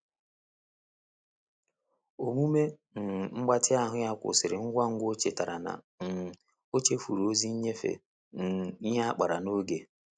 Omume um mgbatị ahụ ya kwụsịrị ngwangwa o chetara na um ochefuru ozi nyefe um ihe a kpara n'oge.